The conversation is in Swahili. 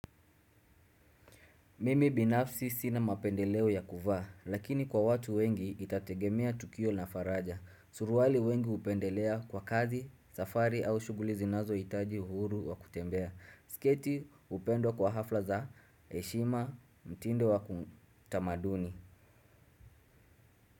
Mimi binafsi sina mapendeleo ya kuvaa lakini kwa watu wengi itategemea tukio na faraja suruali wengi hupendelea kwa kazi safari au shughuli zinazohitaji uhuru wa kutembea. Siketi upendwa kwa hafla za heshima mtindo wa kutamaduni.